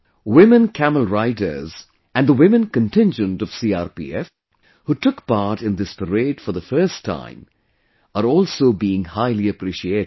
Women Camel Riders and the women contingent of CRPF, who took part in this parade for the first time, are also being highly appreciated